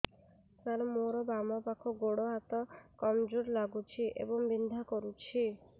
ସାର ମୋର ବାମ ପାଖ ଗୋଡ ହାତ କମଜୁର ଲାଗୁଛି ଏବଂ ବିନ୍ଧା କରୁଛି